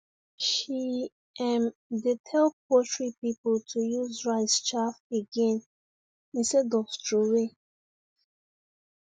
she um dey tell poultry people to use rice chaff again instead of throway